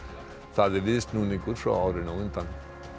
það er viðsnúningur frá árinu á undan